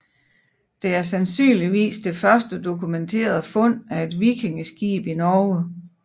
Det er sandsynligvis det første dokumenterede fund af et vikingeskib i Norge